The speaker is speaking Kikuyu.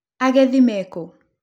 Agethi me kũ?